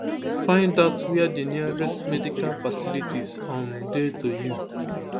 find out wia di nearest medical facilities um dey to you